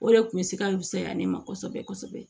O de kun bɛ se ka fusaya ne ma kosɛbɛ kosɛbɛ